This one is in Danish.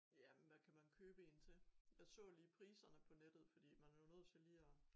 Jamen hvad kan man købe en til jeg så lige priserne på nettet fordi man er jo nødt til lige at